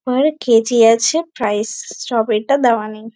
পার KG আছে prices. Strawberry -টা দেওয়া নেই।